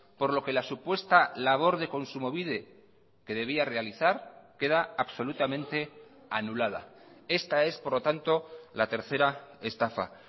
por lo que la supuesta labor de kontsumobide que debía realizar queda absolutamente anulada esta es por lo tanto la tercera estafa